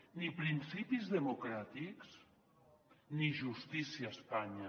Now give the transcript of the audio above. ni principis democràtics ni justícia a espanya